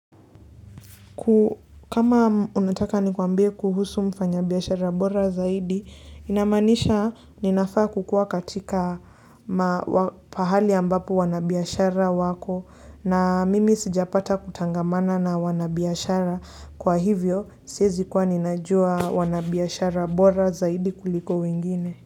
Kama unataka nikuambie kuhusu mfanya biashara bora zaidi, inamanisha ninafaa kukua katika pahali ambapo wanabiashara wako na mimi sijapata kutangamana na wanabiashara. Kwa hivyo, siezi kuwa ninajua wanabiashara bora zaidi kuliko wengine.